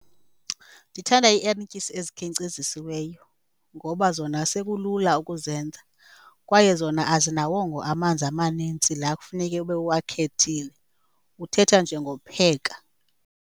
Ndithanda iierityisi ezikhenkcezisiweyo ngoba zona sekulula ukuzenza kwaye zona azinawongo amanzi amanintsi laa kufuneke ube uwakhethile, uthetha nje ngokupheka.